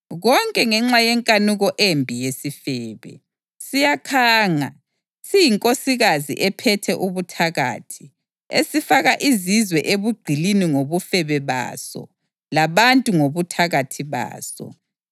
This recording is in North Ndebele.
konke ngenxa yenkanuko embi yesifebe, siyakhanga, siyinkosikazi ephethe ubuthakathi, esifaka izizwe ebugqilini ngobufebe baso labantu ngobuthakathi baso.